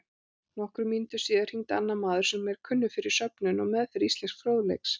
Nokkrum mínútum síðar hringdi annar maður sem kunnur er fyrir söfnun og meðferð íslensks fróðleiks.